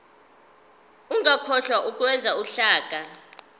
ungakhohlwa ukwenza uhlaka